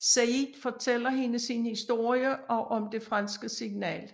Sayid fortæller hende sin historie og om det franske signal